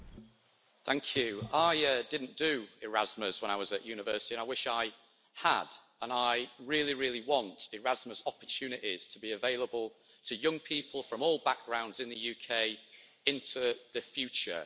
Madam President, I didn't do Erasmus when I was at university, and I wish I had. I really, really want Erasmus opportunities to be available to young people from all backgrounds in the UK into the future.